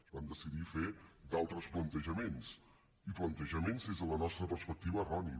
es van decidir fer d’altres plantejaments i plantejaments des de la nostra perspectiva erronis